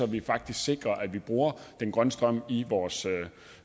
vi faktisk sikrer at vi bruger den grønne strøm i vores